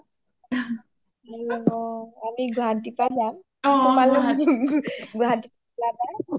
আমি গুৱাহাটী পা যাম তোমালোক গুৱাহাটী ওলাব